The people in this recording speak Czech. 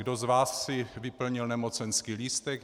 - kdo z vás si vyplnil nemocenský lístek?